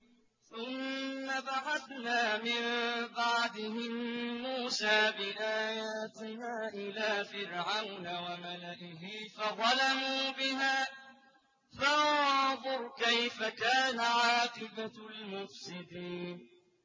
ثُمَّ بَعَثْنَا مِن بَعْدِهِم مُّوسَىٰ بِآيَاتِنَا إِلَىٰ فِرْعَوْنَ وَمَلَئِهِ فَظَلَمُوا بِهَا ۖ فَانظُرْ كَيْفَ كَانَ عَاقِبَةُ الْمُفْسِدِينَ